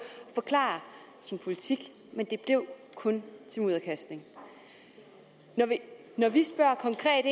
at forklare sin politik men det blev kun til mudderkastning når vi spørger